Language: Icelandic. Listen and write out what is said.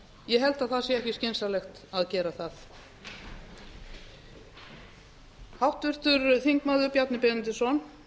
ég held að það sé ekki skynsamlegt að gera það háttvirtur þingmaður bjarni benediktsson